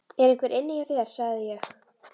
ER EINHVER INNI HJÁ ÞÉR, SAGÐI ÉG?